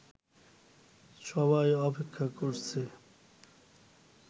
সবাই অপেক্ষা করছে